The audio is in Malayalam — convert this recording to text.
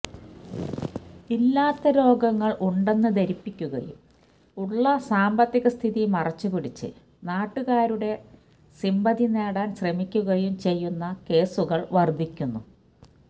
ഇല്ലാത്ത രോഗങ്ങൾ ഉണ്ടെന്ന് ധരിപ്പിക്കുകയും ഉള്ള സാമ്പത്തികസ്ഥിതി മറച്ചുപിടിച്ചു നാട്ടുകാരുടെ സിമ്പതി നേടാൻ ശ്രമിക്കുകയും ചെയ്യുന്ന കേസുകൾ വർദ്ധിക്കുന്നു